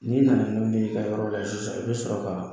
N'i nana n'olu ye i ka yɔrɔ la sisan i bɛ sɔrɔ ka